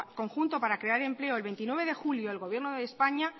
conjunto para crear empleo el veintinueve de julio el gobierno de españa